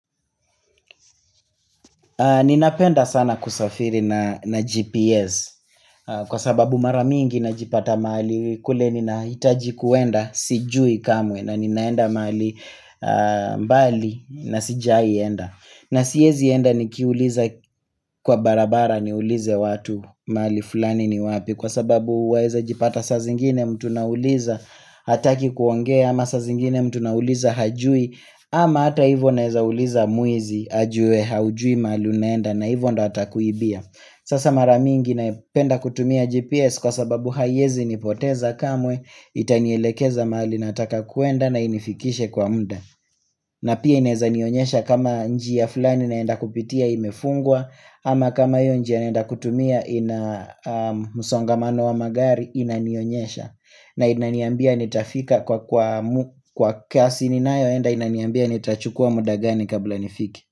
Ninapenda sana kusafiri na GPS kwa sababu mara mingi najipata mahali kule ninahitaji kuenda sijui kamwe na ninaenda mahali mbali na sijaienda na siezi enda nikiuliza kwa barabara niulize watu mahali fulani ni wapi kwa sababu waeza jipata saa zingine mtu nauliza hataki kuongea ama saa zingine mtu nauliza hajui ama hata hivyo naeza uliza mwizi ajue haujui mahali unaenda na hivyo ndio atakuibia Sasa mara mingi napenda kutumia GPS kwa sababu haiezi nipoteza kamwe Itanielekeza mahali nataka kuenda na inifikishe kwa muda na pia inaeza nionyesha kama njia fulani naenda kupitia imefungwa ama kama hiyo njia naenda kutumia ina msongamano wa magari inanionyesha na inaniambia nitafika kwa kwa kasi ninayoenda inaniambia nitachukua muda gani kabla nifike.